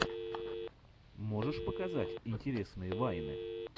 можешь показать интересные вайны